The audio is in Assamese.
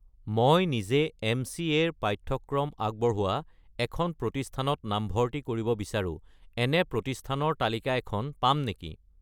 মই নিজে এম.চি.এ. ৰ পাঠ্যক্ৰম আগবঢ়োৱা এখন প্ৰতিষ্ঠানত নামভৰ্তি কৰিব বিচাৰোঁ, এনে প্ৰতিষ্ঠানৰ তালিকা এখন পাম নেকি?